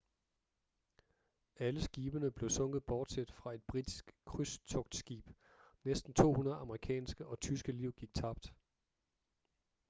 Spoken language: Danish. alle skibene blev sunket bortset fra et britisk krydstogtskib næsten 200 amerikanske og tyske liv gik tabt